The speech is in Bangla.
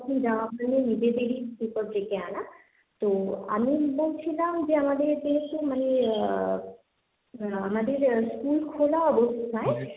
তখন যাওয়া হয়নি নিজে থেকেই বিপদ ডেকে আনা, তো আমি বলছিলাম যে আমাদের যেহেতু মানে আহ আহ আমাদের স্কুল খোলা অবস্থায়,